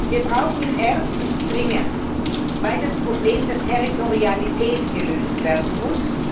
Wir brauchen ihn erstens dringend, weil das Problem der Territorialität gelöst werden muss.